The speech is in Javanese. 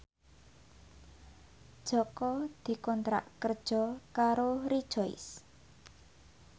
Jaka dikontrak kerja karo Rejoice